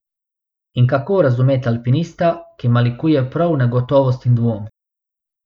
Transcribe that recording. In kako razumeti alpinista, ki malikuje prav negotovost in dvom?